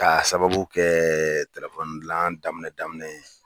K'a sababu kɛ dilan daminɛ daminɛ ye.